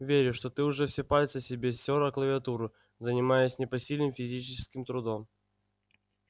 верю что ты уже все пальцы себе стёр о клавиатуру занимаясь непосильным физическим трудом